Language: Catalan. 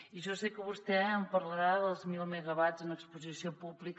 i jo sé que vostè em parlarà dels mil megawatts en exposició pública